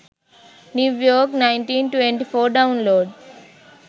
new york 1924 download